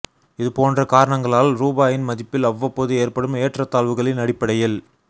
இது போன்ற காரணங்களால் ரூபாயின் மதிப்பில் அவ்வப்போது ஏற்படும் ஏற்றத் தாழ்வுகளின் அடிப்படையில்